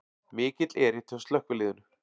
Mikill erill hjá slökkviliðinu